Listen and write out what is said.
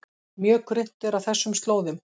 Mjög grunnt er á þessum slóðum